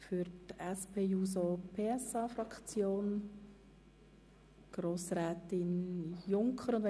Für die SP-JUSO-PSA-Fraktion hat Grossrätin Junker das Wort.